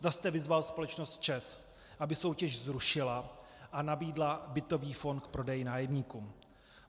Zda jste vyzval společnost ČEZ, aby soutěž zrušila a nabídla bytový fond k prodeji nájemníkům.